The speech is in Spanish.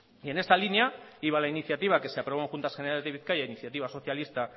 y en esta línea iba la iniciativa que se aprobó en juntas generales de bizkaia iniciativa socialista